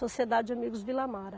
Sociedade Amigos Vila Mara.